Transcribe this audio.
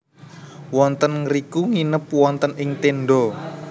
Wonten ngriku nginep wonten ing tenda